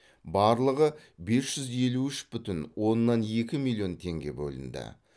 барлығы бес жүз елу үш бүтін оннан екі миллион теңге бөлінді